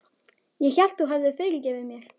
Ég hélt að þú hefðir fyrirgefið mér.